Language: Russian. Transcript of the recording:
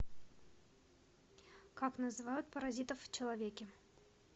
как называют паразитов в человеке